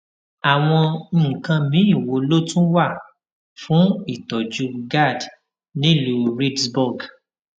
àwọn nǹkan míì wo ló tún wà fún ìtójú gad nílùú reedsburg